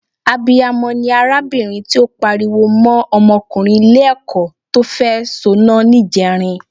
Abiyamọ ni arábìnrin tí ó pariwo mọ́ ọmọkùnrin Ilé-ẹ̀kọ́ tó fẹ́ soná níjẹrin